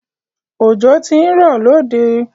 Ọjọ̀ tí n rọ̀ lóde